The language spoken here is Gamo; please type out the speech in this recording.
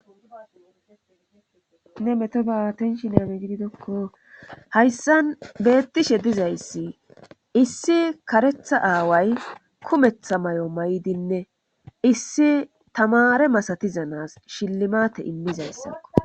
Hayssan beettishe dizayssi issi karetha aaway kumetha mayo mayidinne tamaare masatiza na7aas shillimaate immizayssa